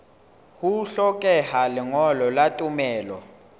ho hlokeha lengolo la tumello